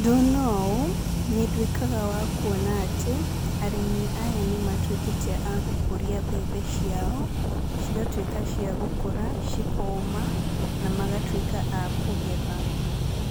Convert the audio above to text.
Ndona ũũ, nĩndwĩkaga wa kuona atĩ, arĩmi aya nĩmatwĩkĩte agũkũria mbembe ciao, cigatwĩka cia gũkũra, cikoma, na magatwĩka a kũgetha,